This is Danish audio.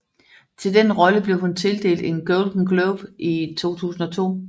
Til den rolle blev hun tildelt en Golden Globe i 2002